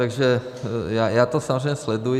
Takže já to samozřejmě sleduji.